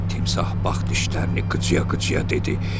Timsah bax dişlərini qıcıya-qıcıya dedi: